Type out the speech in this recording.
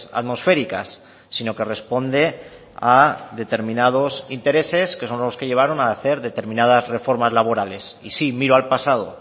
atmosféricas sino que responde a determinados intereses que son los que llevaron a hacer determinadas reformas laborales y sí miro al pasado